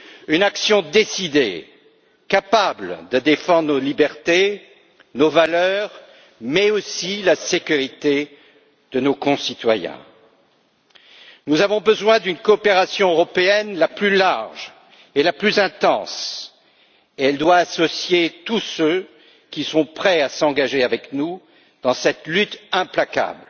Une action décidée, capable de défendre nos libertés, nos valeurs, mais aussi la sécurité de nos concitoyens. Nous avons besoin d'une coopération européenne la plus large et la plus intense possible, et elle doit associer tous ceux qui sont prêts à s'engager avec nous dans cette lutte implacable